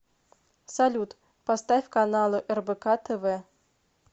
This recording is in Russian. салют поставь каналы рбк тв